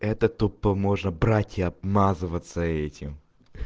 это тупо можно брать и обмазываться этим